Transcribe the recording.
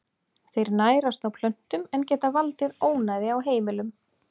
Þeir nærast á plöntum en geta valdið ónæði á heimilum.